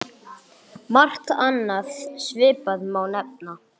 Margt annað svipað má nefna.